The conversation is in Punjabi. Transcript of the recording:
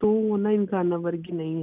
ਤੂੰ ਓਹਨਾ ਇਨਸਾਨਾਂ ਵਰਗੀ ਨਹੀਂ ਹੈ।